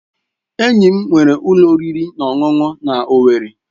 Enyi m nwere ulo oriri na ọṅụṅụ na Owerri.